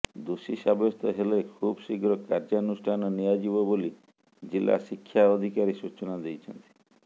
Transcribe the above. ଦୋଷୀ ସାବ୍ୟସ୍ତ ହେଲେ ଶୁବଶୀଘ୍ର କାର୍ଯ୍ୟାନୁଷ୍ଠାନ ନିଆଯିବ ବୋଲି ଜିଲ୍ଲା ଶିକ୍ଷା ଅଧିକାରୀ ସୂଚନା ଦେଇଛନ୍ତି